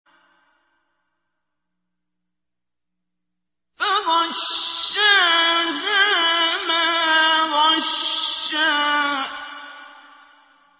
فَغَشَّاهَا مَا غَشَّىٰ